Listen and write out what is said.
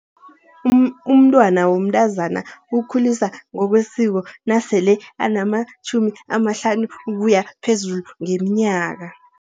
Umntwana womntazana ukhuliswa ngokwesiko nasele anamatjhumi amahlanu ukuya phezulu ngeminyaka.